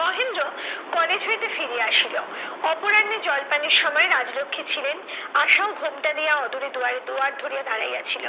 Mahendra college হইতে ফিরিয়া আসিল। অপরাহ্নে জলপানের সময় রাজলক্ষ্মী ছিলেন আশাও ঘোমটা দিয়া অদূরে দুয়ারে দুয়ার ধরিয়া দাঁড়াইয়া ছিল।